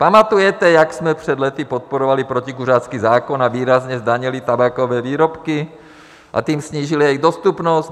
Pamatujete, jak jsme před lety podporovali protikuřácký zákon a výrazně zdanili tabákové výrobky a tím snížili jejich dostupnost?